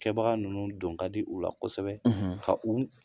Kɛbaga ninnu don ka di u la kosɛbɛ, ka u